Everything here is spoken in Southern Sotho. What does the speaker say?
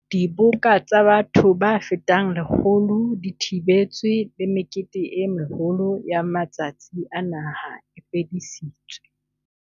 Diboka tsa batho ba fetang 100 di thibetswe le mekete e meholo ya matsatsi a naha e fedisitswe.